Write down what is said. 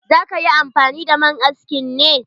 Za ka yi amfani da man askin ne?